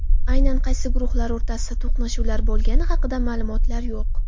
Aynan qaysi guruhlar o‘rtasida to‘qnashuvlar bo‘lgani haqida ma’lumotlar yo‘q.